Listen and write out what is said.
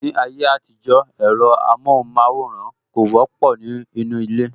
Ní ayé àtijó, ẹ̀rọ amohun maworan kò wọ́pọ̀ ní inú ilé